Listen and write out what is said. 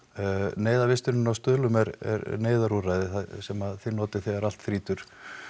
neyðarvistunin á Stuðlum er neyðarúrræði það er sem að þið notið þegar allt þrýtur